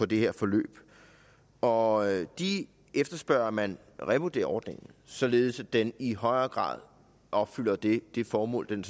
det her forløb og de efterspørger at man revurderer ordningen således at den i højere grad opfylder det formål den